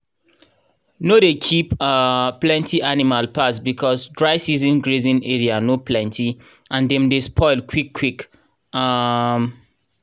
no dey keep um plenty animal pass because dry season grazing area no plenty and dem dey spoil quick quick. um